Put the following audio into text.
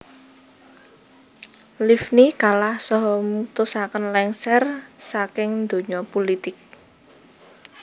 Livni kalah saha mutusaken lengser saking donya pulitik